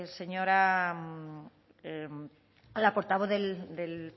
a la portavoz del